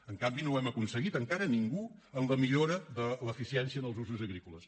en canvi no ho hem aconseguit encara ningú en la millora de l’eficiència en els usos agrícoles